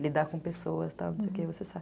Lidar com pessoas, tal, não sei o que, você sabe.